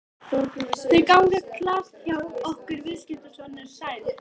Þau ganga glatt hjá okkur viðskiptin, sonur sæll.